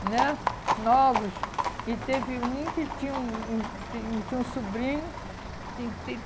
né novos e teve um que tinha um um tinha um tinha um sobrinho. E e